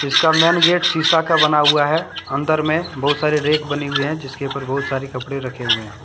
इसका main gate शीशा का बना हुआ है अंदर में बहुत सारी रेक बनी हुई हैं जिसके ऊपर बहुत सारे कपड़े रखे हुए हैं।